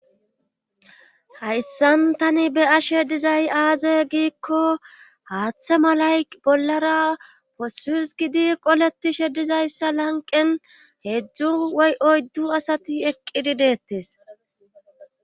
Hayssan tani be ashe dizay aaze giikko haaththe malay bollara possuus gidi qoletishe dizayssa lanqen heedzdzu woy oyddu asati eqqidi deettes.